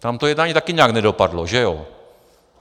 Tam to jednání také nějak nedopadlo, že jo?